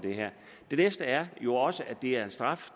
det næste er jo også at det er en straf